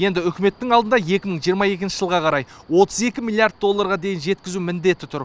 енді үкіметтің алдында екі мың жиырма екінші жылға қарай отыз екі миллиард долларға дейін жеткізу міндеті тұр